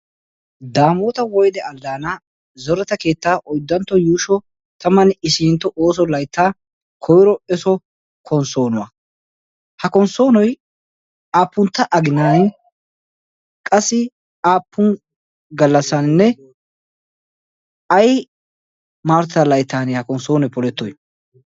daamoota woyde alddaana zorata keetta oyddantto yuusho taman isintto ooso layttaa koyro eso konssoonuwaa ha konssoonoy aappuntta aginan qassi aappun gallassaaninne ay maartta layttan ha konssoonoy polettoy